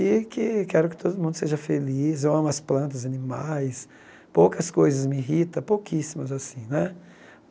E que quero que todo mundo seja feliz, eu amo as plantas, animais, poucas coisas me irrita, pouquíssimas assim, né?